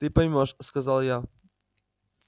ты поймёшь сказал я